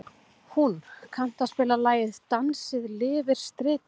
Húnn, kanntu að spila lagið „Dansinn lifir stritið“?